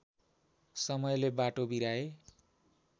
समयले बाटो बिराए